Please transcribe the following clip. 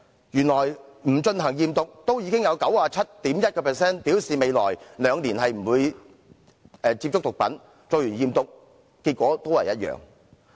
即使不進行驗毒，也有 97.1% 的學生表示未來兩年不會接觸毒品，而且驗毒結果都是一樣。